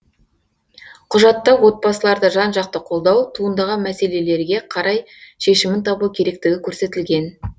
құжатта отбасыларды жан жақты қолдау туындаған мәселелерге қарай шешімін табу керектігі көрсетілген